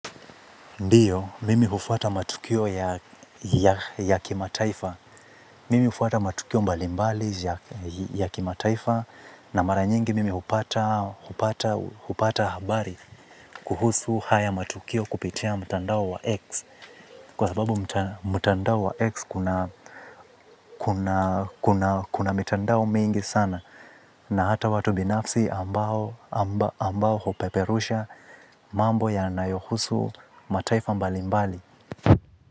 Ndiyo, mimi hufuata matukio mbali mbali ya kimataifa na mara nyingi mimi hupata habari kuhusu haya matukio kupitia mtandao wa X kwa sababu mtandao wa X kuna mitandao mengi sana na hata watu binafsi ambao hupeperusha mambo yanayohusu mataifa mbali mbali.